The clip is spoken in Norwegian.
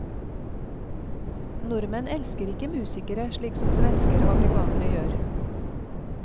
Nordmenn elsker ikke musikere slik som svensker og amerikanere gjør.